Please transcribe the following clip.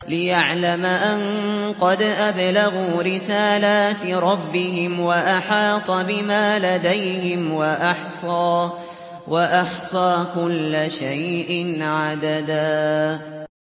لِّيَعْلَمَ أَن قَدْ أَبْلَغُوا رِسَالَاتِ رَبِّهِمْ وَأَحَاطَ بِمَا لَدَيْهِمْ وَأَحْصَىٰ كُلَّ شَيْءٍ عَدَدًا